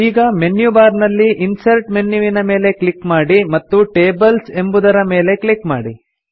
ಈಗ menu bar ನಲ್ಲಿ insert ಮೆನ್ಯುವಿನ ಮೇಲೆ ಕ್ಲಿಕ್ ಮಾಡಿ ಮತ್ತು ಟೇಬಲ್ಸ್ ಎಂಬುವುದರ ಮೇಲೆ ಕ್ಲಿಕ್ ಮಾಡಿ